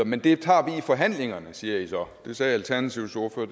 men det tager vi i forhandlingerne siger i så det sagde alternativets ordfører